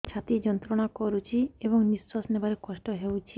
ଛାତି ଯନ୍ତ୍ରଣା କରୁଛି ଏବଂ ନିଶ୍ୱାସ ନେବାରେ କଷ୍ଟ ହେଉଛି